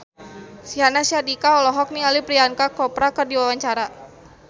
Syahnaz Sadiqah olohok ningali Priyanka Chopra keur diwawancara